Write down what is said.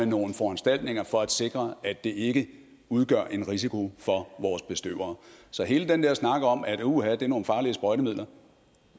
nogle foranstaltninger for at sikre at det ikke udgør en risiko for vores bestøvere så hele den der snak om at uha det er nogle farlige sprøjtemidler